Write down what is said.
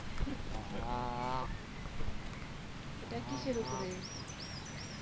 এইটা কিসের উপরে